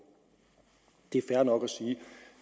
det er fair nok at sige at